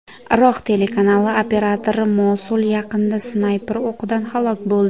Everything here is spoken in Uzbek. Iroq telekanali operatori Mosul yaqinida snayper o‘qidan halok bo‘ldi.